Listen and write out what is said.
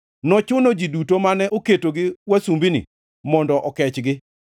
Nochuno ji duto mane oketogi wasumbini mondo okechgi.